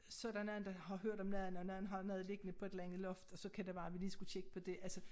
Så der nogen der har hørt om noget andet og nogen anden har noget liggende på et eller andet loft og så kan det være vi lige skulle tjekke på det altså